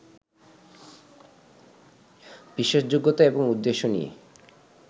বিশ্বাসযোগ্যতা এবং উদ্দেশ্য নিয়ে